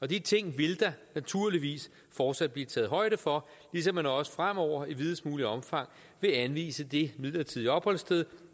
de ting vil der naturligvis fortsat blive taget højde for ligesom man også fremover i videst muligt omfang vil anvise det midlertidige opholdssted